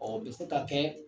Ɔ bɛ se ka kɛ